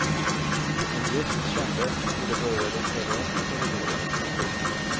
En gäst kände hur det började lukta rök i korridoren. punkt